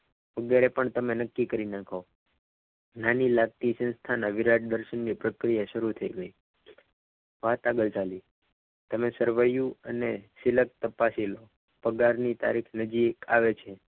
અત્યારે પણ તમે નક્કી કરી નાખો નાની લાગતી સંસ્થાની વિરાટ દર્શન ની પ્રક્રિયા શરૂ થઈ ગઈ વાત આગળ ચાલી. તમે સરવૈયું અને સિલક તપાસી લો. પગાર પગાર ની તારીખ નજીક આવે છે.